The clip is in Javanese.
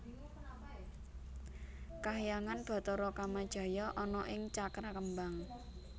Kahyangan Bathara Kamajaya ana ing Cakrakembang